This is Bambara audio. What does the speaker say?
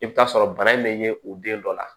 I bɛ t'a sɔrɔ bana in bɛ ye u den dɔ la